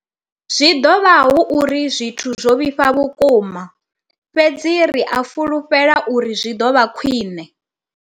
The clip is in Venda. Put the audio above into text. Zwi ḓo vha hu uri zwithu zwo vhifha vhukuma, fhedzi ri a fhulufhela uri zwi ḓo vha khwiṋe.